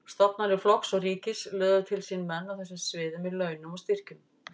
Stofnanir flokks og ríkis löðuðu til sín menn á þessu sviði með launum og styrkjum.